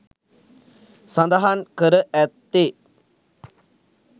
සඳහන් කර ඇත්තේ